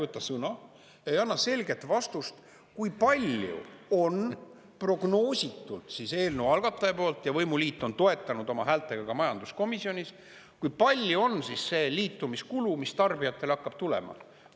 Miks te ei võta sõna, ei anna selget vastust, kui palju on prognoositult eelnõu algataja poolt ja võimuliit on toetanud oma häältega ka majanduskomisjonis, kui palju on liitumiskulu, mis tarbijatele hakkab tulema?